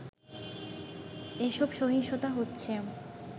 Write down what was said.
এসব সহিংসতা হচ্ছে